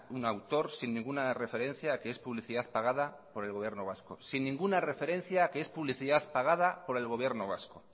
un autor sin ninguna referencia que es publicidad pagada por el gobierno vasco sin ninguna referencia que es publicidad pagada por el gobierno vasco